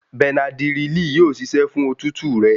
Bẹnadírílì yóò ṣiṣẹ́ fún òtútù rẹ.